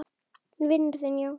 Vinur þinn, já?